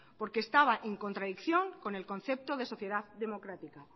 porque estaba en contradicción con el concepto de sociedad democrática